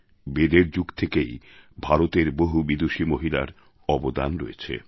বেদের যুগ থেকেই ভারতের বহু বিদূষী মহিলার অবদান রয়েছে